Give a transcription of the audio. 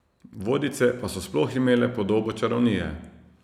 Vodice pa so sploh imele podobo čarovnije.